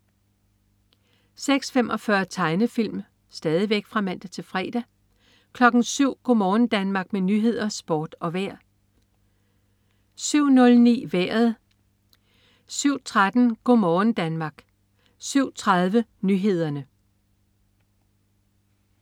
06.45 Tegnefilm (man-fre) 07.00 Go' morgen Danmark med nyheder, sport og vejr (man-fre) 07.00 Nyhederne og Sporten (man-fre) 07.09 Vejret (man-fre) 07.13 Go' morgen Danmark (man-fre) 07.30 Nyhederne (man-fre)